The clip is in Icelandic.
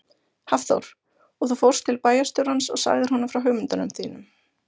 Hafþór: Og þú fórst til bæjarstjórans og sagðir honum frá hugmyndunum þínum?